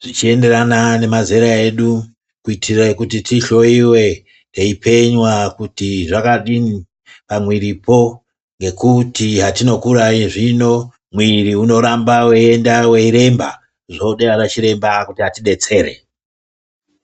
zvichienderana nemazera edu kuitire kuti tihloiwe teipenywa kuti zvakadini pamwiripo ngekuti hatinokura zvino mwiri unoramba weienda weiremba. Zvode anachiremba kuti atidetsere.